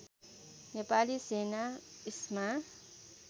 नेपाली सेना इस्मा